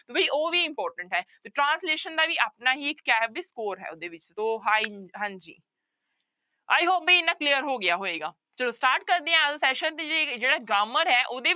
ਵੀ ਉਹ ਵੀ important ਹੈ ਤੇ translation ਦਾ ਵੀ ਆਪਣਾ ਹੀ ਇੱਕ ਉਹਦੇ ਵਿੱਚ ਹਾਂਜੀ i hope ਵੀ ਇੰਨਾ clear ਹੋ ਗਿਆ ਹੋਏਗਾ, ਚਲੋ start ਕਰਦੇ ਹਾਂ ਅੱਜ ਦਾ session ਤੇ ਜਿਹੜੀ ਜਿਹੜਾ grammar ਹੈ ਉਹਦੇ